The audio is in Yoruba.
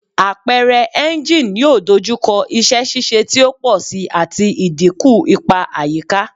Apẹrẹ engine yoo dojukọ iṣẹ ṣiṣe ti o pọ si ati idinku ipa ayika